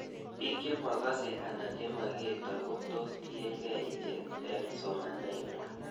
Pik chemakase anan chemakertoi ko tos tiekei ichet eng'somanet ng'wai